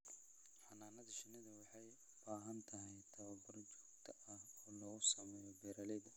Xannaanada shinnidu waxay u baahan tahay tababar joogto ah oo lagu sameeyo beeralayda.